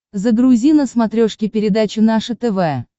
загрузи на смотрешке передачу наше тв